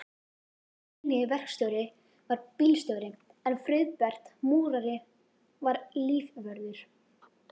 Steini verkstjóri var bílstjóri en Friðbert múrari var lífvörður.